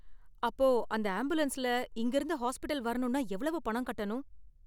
அப்ப அந்த ஆம்புலன்ஸ்ல இங்க இருந்து ஹாஸ்பிடல் வரணும்னா எவ்வளவு பணம் கட்டணும்?